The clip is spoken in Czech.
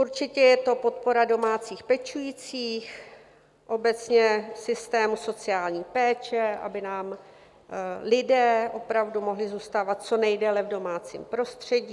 Určitě je to podpora domácích pečujících, obecně systému sociální péče, aby nám lidé opravdu mohli zůstávat co nejdéle v domácím prostředí.